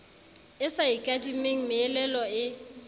e sa ikadimeng meelelo e